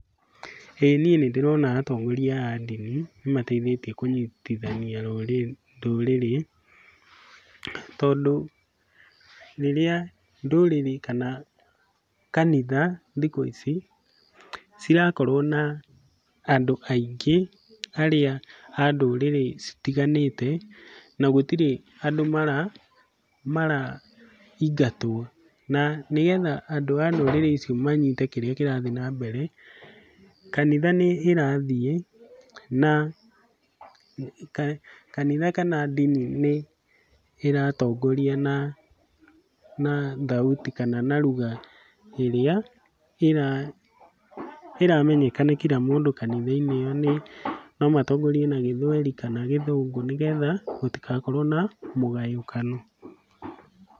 Ĩĩ niĩ nĩndĩrona atongoria a ndini nĩmateithĩtie kũnyitithania ndũrĩrĩ, tondũ rĩrĩa ndũrĩrĩ kana kanitha thikũ ici cirakorwo na andũ aingĩ arĩa a ndũrĩrĩ citiganĩte na gũtirĩ andũ maraingatwo, na nĩgetha andũ a ndũrĩrĩ icio manyite kĩrĩa kĩrathiĩ na mbere, kanitha nĩĩrathiĩ na kanitha kana ndini nĩĩratongoria na na thauti kana na lugha ĩrĩa ĩramenyekana nĩ kila mũndũ kanitha-inĩ ĩyo nĩ, no matongorie na Gĩthweri kana Githũngũ nĩgetha gũtigakorwo na mũgayũkano.